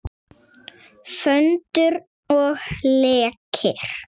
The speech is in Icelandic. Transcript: Föndur og leikir.